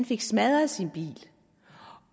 fik smadret sin bil